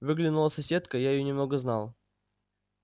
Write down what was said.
выглянула соседка я её немного знал